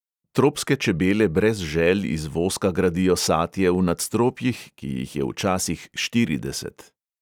Tropske čebele brez žel iz voska gradijo satje v nadstropjih, ki jih je včasih štirideset.